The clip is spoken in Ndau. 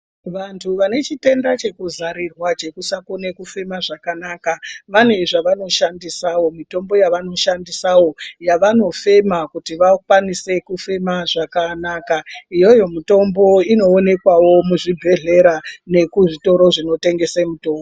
Vantu vane chitenda chekuzarirwa chekusakone kufema zvakanaka. Vane zvavanoshandisawo mitombo yavanoshandisawo yavanofema kuti vakwanise kufema zvakanaka. Iyoyo mitombo inoonekwawo muzvibhedhlera nekuzvitoro zvinotengese mitombo.